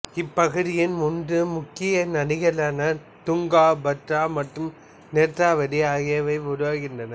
இப்பகுதியின் மூன்று முக்கிய நதிகளான துங்கா பத்ரா மற்றும் நேத்ராவதி ஆகியவை உருவாகின்றன